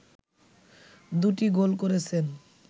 দু'টি গোল করেছেন